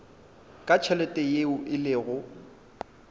ka tšhelete yeo e lego